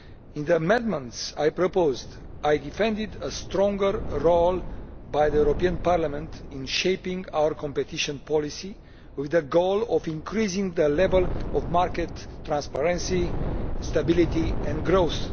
In the amendments, I proposed and defended a stronger role for Parliament in shaping our competition policy, with the goal of increasing the level of market transparency, stability and growth.